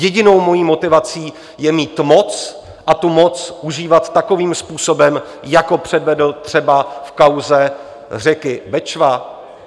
Jedinou mojí motivací je mít moc a tu moc užívat takovým způsobem, jako předvedl třeba v kauze řeky Bečva?